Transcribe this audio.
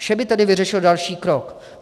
Vše by tedy vyřešil další krok.